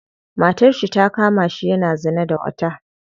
Matarshi ta kamashi yana zina da wata.